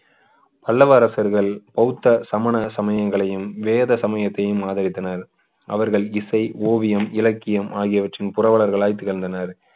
பல்லவ அரசர்கள் பௌத்த சமண சமயங்களையும் வேத சமயத்தையும் ஆதரித்தனர் அவர்கள் இசை ஓவியம் இலக்கியம் ஆகியவற்றில் புரவலர்களாய் திகழ்ந்தனர்